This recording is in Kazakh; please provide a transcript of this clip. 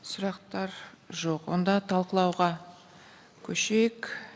сұрақтар жоқ онда талқылауға көшейік